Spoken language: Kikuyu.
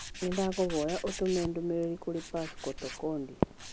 Nĩndakũhoya ũtũme ndũmĩrĩrĩ kũrĩ Pascal Tokodi